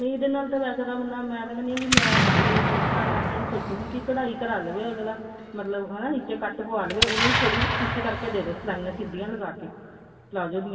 ਨਹੀਂ ਇਹਦੇ ਨਾਲ ਵੈਸੇ ਤਾਂ ਬੰਦਾ ਮੈਂ ਤਾਂ ਕਹਿੰਦੀ ਹਾਂਵੇ ਮੇਰੇ ਲਈ ਤਾਂ ਮੈਂ ਤਾਂ ਇਹ ਸੋਚੁੰਗੀ ਵੀ ਕਢਾਈ ਕਰਾ ਲਵੇ ਅੱਗਲਾ ਹਨਾ ਨਿੱਚੇ cut ਪਵਾ ਲਵੇ ਉਹਨੂੰ ਥੋੜੀ ਜੀ stitch ਕਰਕੇ ਦੇਦੋ ਸਲਾਈਆਂ ਸਿਧੀਆਂ ਲਗਾ ਕੇ palazzo ਦੀਆਂ